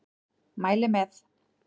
Mæli með!